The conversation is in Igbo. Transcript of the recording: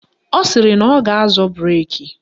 Ọ sịrị na ọ ga-azọ breki